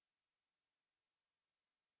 अब अपनी login dot php file बनाते हैं